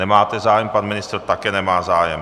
Nemáte zájem, pan ministr také nemá zájem.